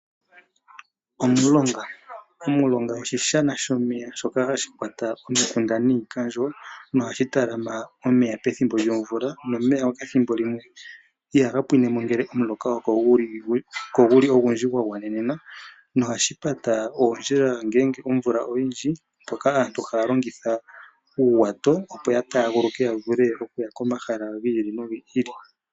Omulonga oshi shana shomeya shoka hashi kwata oomikunda niikandjo nohashi talama omeya pethimbo lyomvula. Omuloka ngele ogu li ko ogundji nogwa gwanelela ihaga pwinine, molwashoka ohashi pata oondjila ngele omvula oyindji nohashi thiminike aantu ya longithe uuwato oku taguluka ya vule okuya komahala gi ili nogi ili.